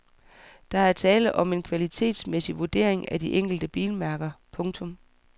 Der er tale om en kvalitetsmæssig vurdering af de enkelte bilmærker. punktum